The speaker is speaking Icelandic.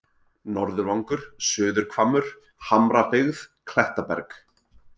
Norðurvangur, Suðurhvammur, Hamrabyggð, Klettaberg